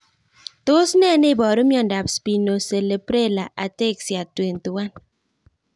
Tos nee neiparu miondop Spinocerebellar ataxia 21?